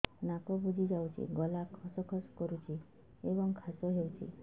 ନାକ ବୁଜି ଯାଉଛି ଗଳା ଖସ ଖସ କରୁଛି ଏବଂ କାଶ ହେଉଛି